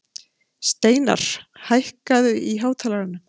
Steinarr, hækkaðu í hátalaranum.